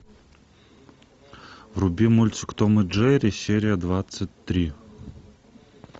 вруби мультик том и джерри серия двадцать три